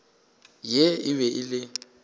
ye e be e le